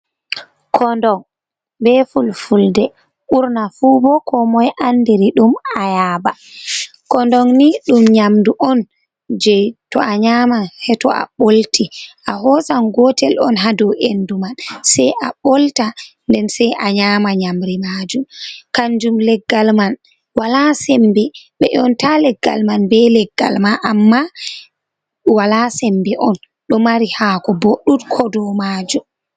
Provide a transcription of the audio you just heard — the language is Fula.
Kondon be fulfulde, ɓurna fu bo koomoy anndiri ɗum ayaaba. Kondon ni ɗum nyamdu on, jey to a nyaaman seyto a ɓolti, a hoosan gootel on haa dow endu man, sey a ɓolta, nden say a nyaama nyamri maajum, kanjum leggal man walaa sembe, ɓe ƴoonata leggal man, be leggal ma, amma walaa sembe on, ɗo mari haako bo ɗuuɗko dow maajum.